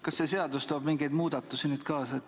Kas see seadus toob mingeid muudatusi nüüd kaasa?